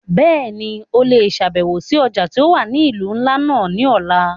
Bẹ́ẹ̀ni, o le ṣabẹwo si ọja ti o wa ni ilu nla náa ni ọla.